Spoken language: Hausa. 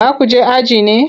Za ku je aji ne?